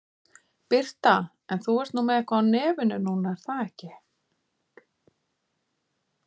Birta: En þú ert nú með eitthvað á nefinu núna er það ekki?